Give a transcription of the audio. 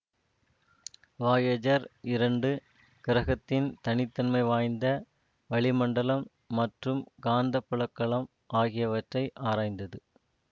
Voyager இரண்டு கிரகத்தின் தனி தன்மை வாய்ந்த வளிமண்டலம் மற்றும் காந்தப்புலக்களம் ஆகியவற்றை ஆராய்ந்தது